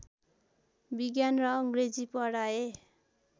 विज्ञान र अङ्ग्रेजी पढाए